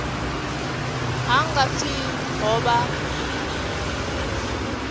ha nga pfi ho vha